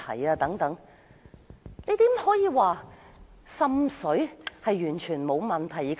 可是，怎能說滲水完全沒有問題？